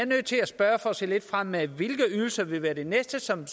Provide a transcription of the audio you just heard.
nødt til at spørge for at se lidt fremad hvilke ydelser vil være det næste som